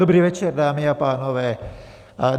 Dobrý večer, dámy a pánové.